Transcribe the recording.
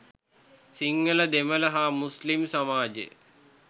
සිංහල දෙමළ හා මුස්ලිම් සමාජ